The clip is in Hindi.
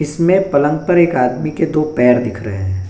इसमें पलंग पर एक आदमी के दो पैर दिख रहे हैं।